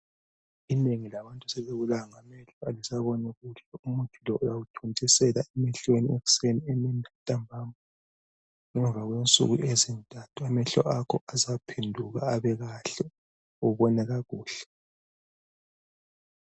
Inengi labantu sebebulawa ngamehlo. kalisaboni kuhle. Umuthi lowu uyawuthontisela emehlweni, ekuseni, emini lantambama. Ngemva kwensuku ezintathu, amehlo akho azaphenduka, abe kahle. Ubone kakuhle.